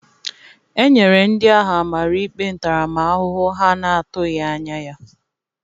E nyere ndị ahụ amara ikpe ntaramahụhụ ha na-atụghị anya ya.